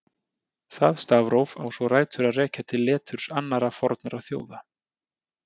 Það stafróf á svo rætur að rekja til leturs annarra fornra þjóða.